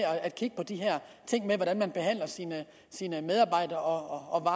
at kigge på de her ting med hvordan man behandler sine sine medarbejdere og